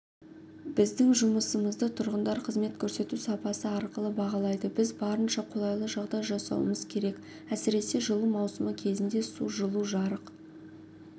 біздің жұмысымызды тұрғындар қызмет көрсету сапасы арқылы бағалайды біз барынша қолайлы жағдай жасауымыз керек әсіресе жылу маусымы кезінде су жылу жарық